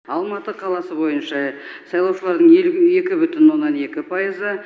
алматы қаласы бойынша сайлаушылардың елу екі бүтін оннан екі пайызы